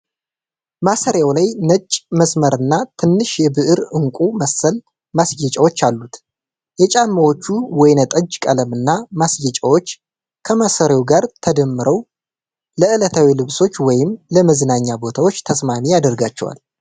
ማሰሪያው ላይ ነጭ መስመርና ትንሽ የብር ዕንቁ መሰል ማስጌጫዎች አሉት። የጫማዎቹ ወይን ጠጅ ቀለምና ማስጌጫዎች ከማሰሪያው ጋር ተደምረው ለዕለታዊ ልብሶች ወይስ ለመዝናኛ ቦታዎች ተስማሚ ያደርጋቸዋል?